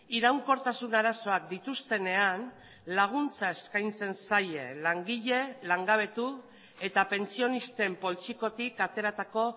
iraunkortasun arazoak dituztenean laguntza eskaintzen zaie langile langabetu eta pentsionisten poltsikotik ateratako